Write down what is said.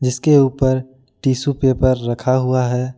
इसके ऊपर tissue paper रखा हुआ है।